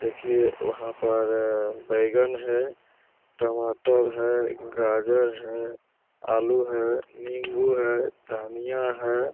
देखिए वहाँ पर बैगन है टमाटर है गाजर है आलू है निम्बू है धनिया है।